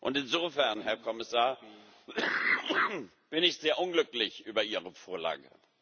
Und insofern, Herr Kommissar, bin ich sehr unglücklich über ihre Vorlage.